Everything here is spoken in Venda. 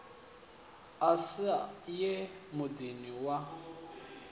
a sa ye muḓini wa